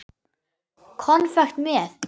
Konfekt með.